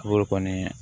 Bɔr'o kɔni